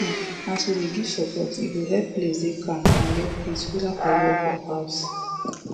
um as we dey give support e go help place dey calm and get peace whether for work or house